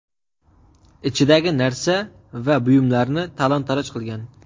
ichidagi narsa va buyumlarni talon-toroj qilgan.